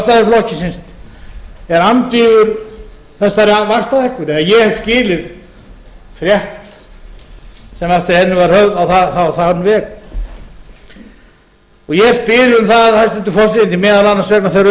varaformaður sjálfstæðisflokksins er andvígur þessari vaxtahækkun ef ég hef skilið rétt það sem eftir henni var haft á þann veg ég spyr um það hæstvirtur forseti að vegna þeirra umræðna sem